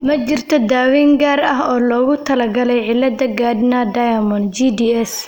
Ma jirto daaweyn gaar ah oo loogu talagalay cilada Gardner Diamond (GDS).